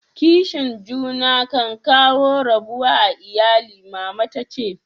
Kishin juna kan kawo rabuwa a lyalli, mama ta ce.